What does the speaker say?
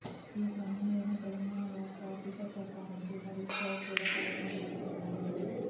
ఈ క్రమంలోనే తెలంగాణ రాష్ట్ర ఆర్ధిక శాఖ మంత్రి హరీశ్ రావు కూడా కరోనా బారిన పడ్డారు